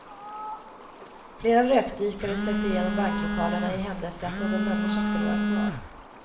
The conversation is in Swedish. Flera rökdykare sökte igenom banklokalerna i händelse att någon människa skulle vara kvar.